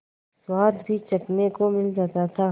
स्वाद भी चखने को मिल जाता था